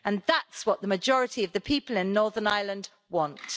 That's what the majority of the people in Northern Ireland want.